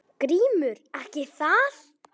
GRÍMUR: Ekki það?